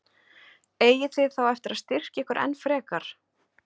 Eigið þið þá eftir að styrkja ykkur enn frekar?